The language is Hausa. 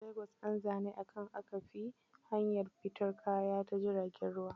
Lagos nza ni, a can aka fi yin harkar fiton kaya ta jirgin ruwa.